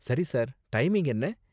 சரி, sir, timing என்ன?